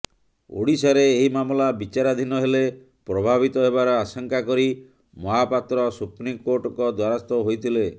ଓଡ଼ିଶାରେ ଏହି ମାମଲା ବିଚାରାଧୀନ ହେଲେ ପ୍ରଭାବିତ ହେବାର ଆଶଙ୍କା କରି ମହାପାତ୍ର ସୁପ୍ରିମକୋର୍ଟଙ୍କ ଦ୍ୱାରସ୍ଥ ହୋଇଥିଲେ